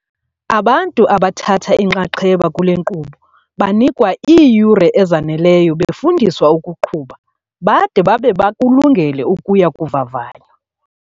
Abantu abathatha inxaxheba kule nkqubo banikwa iiyure ezaneleyo befundiswa ukuqhuba, bade babe bakulungele ukuya kuvavanywa.